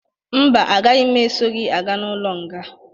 Mba, agaghi m esọ gị aga n'ụlo nga